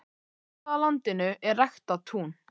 Nokkuð af landinu er ræktað tún.